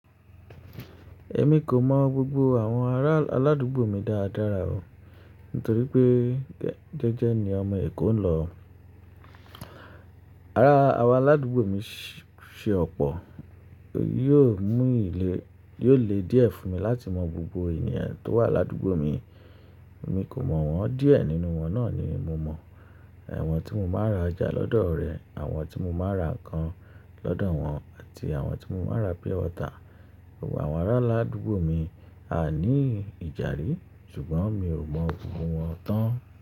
Èmi kò mọ̀ gbogbo àwọn ará aládùúgbò mi dáadára o nítorí pé jẹ́jẹ́ ni ọmọ Èkó ń lọ. Ara àwọn aládùúgbò mi se ọ̀pọ̀, yóò mú ilé, yóò le díẹ̀ fún mi láti mọ gbogbo ènìyàn tó wà ládúgbò mi. Èmi kò mọ̀ wọ́n díẹ̀ nínú wọn náà ni mo mọ̀. Awọ̀n tí mo máa ra jà lọ́dọ̀ rẹ, àwọn tí mo máa ra ǹkan lọ́dọ̀ wọn àti àwọn tí mo máa ra pure wọtà. Gbogbo àwọn ará aládùúgbò mi a ní ìjàrí ṣùgbọ́n mi ò mọ̀ gbogbo wọn tán.